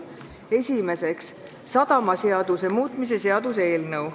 Esimeseks, sadamaseaduse muutmise seaduse eelnõu.